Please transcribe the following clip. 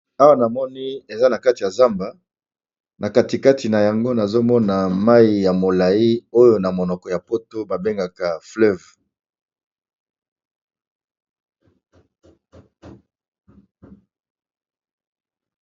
Awa na moni eza na kati ya zamba na katikati na yango nazomona mai ya molai oyo na monoko ya poto babengaka fleuve.